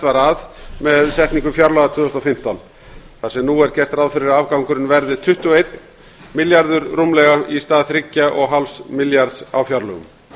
var að með setningu fjárlaga tvö þúsund og fimmtán þar sem nú er gert ráð fyrir að afgangurinn verði rúmur tuttugu og einn milljarður í stað þrjátíu og fimm milljarðar á fjárlögum